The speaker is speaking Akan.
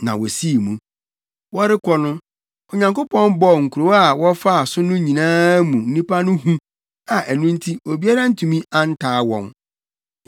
Na wosii mu. Wɔrekɔ no, Onyankopɔn bɔɔ nkurow a wɔfaa so no nyinaa mu nnipa no hu a ɛno nti obiara antumi antaa wɔn.